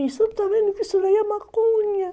Você não está vendo que isso daí é maconha?